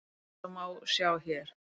Eins og má sjá hér.